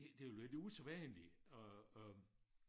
Det det jo lidt usædvanligt at at